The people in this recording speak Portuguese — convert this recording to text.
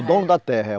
O dono da terra. é